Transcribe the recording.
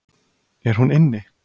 Er hún inni?